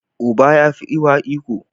Uba ya fi uwa iko.